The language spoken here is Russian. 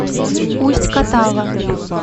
усть катава